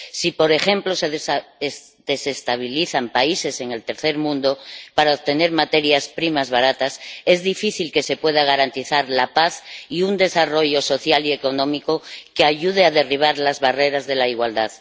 Si, por ejemplo, se desestabilizan países en el tercer mundo para obtener materias primas baratas, es difícil que se pueda garantizar la paz y un desarrollo social y económico que ayuden a derribar las barreras de la igualdad.